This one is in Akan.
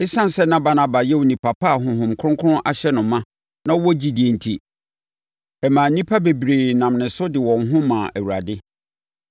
Esiane sɛ na Barnaba yɛ onipa pa a Honhom Kronkron ahyɛ no ma na ɔwɔ gyidie enti, ɛmaa nnipa bebree nam ne so de wɔn ho maa Awurade.